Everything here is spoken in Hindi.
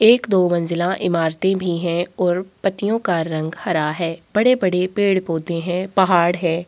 एक दो मंजिला इमारते भी है और पत्तियों का रंग हरा है बड़े-बड़े पेड़-पौधे हैं पहाड़ है।